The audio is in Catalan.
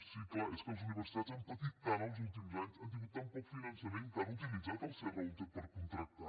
sí clar és que les universitats han patit tant els últims anys han tingut tan poc finançament que han utilitzat el serra húnter per contractar